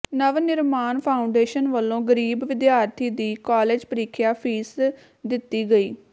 ਨਵ ਨਿਰਮਾਣ ਫਾਊਂਡੇਸ਼ਨ ਵੱਲੋਂ ਗਰੀਬ ਵਿਦਿਆਰਥੀ ਦੀ ਕਾਲਜ ਪ੍ਰੀਖਿਆ ਫੀਸ ਦਿੱਤੀ ਗਈ